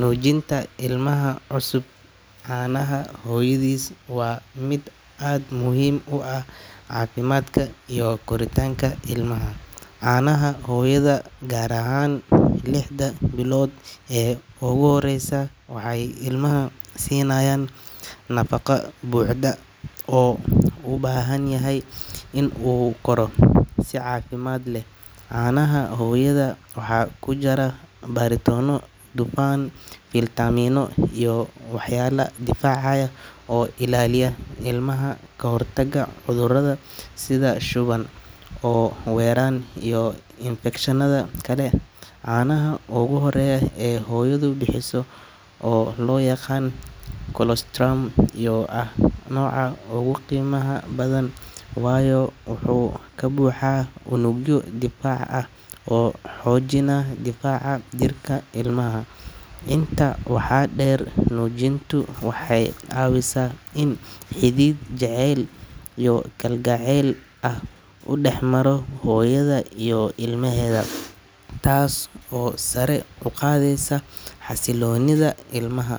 Nuujinta ilmaha cusub caanaha hooyadiis waa mid aad muhiim u ah caafimaadka iyo koritaanka ilmaha. Caanaha hooyada, gaar ahaan lixda bilood ee ugu horreysa, waxay ilmaha siinayaan nafaqo buuxda oo uu u baahan yahay si uu u koro si caafimaad leh. Caanaha hooyada waxaa ku jira borotiinno, dufan, fiitamiinno iyo walxo difaacaya oo ilaaliya ilmaha ka hortagga cudurrada sida shuban, oof-wareen iyo infekshanada kale. Caanaha ugu horreeya ee hooyadu bixiso oo loo yaqaan colostrum ayaa ah nooca ugu qiimaha badan, waayo wuxuu ka buuxaa unugyo difaac ah oo xoojina difaaca jirka ilmaha. Intaa waxaa dheer, nuujintu waxay caawisaa in xidhiidh jacayl iyo kalgacayl ah uu dhex maro hooyada iyo ilmaheeda, taas oo sare u qaadaysa xasilloonida ilmaha.